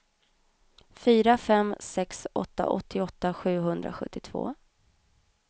fyra fem sex åtta åttioåtta sjuhundrasjuttiotvå